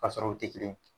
Ka sɔrɔ u tɛ kelen ye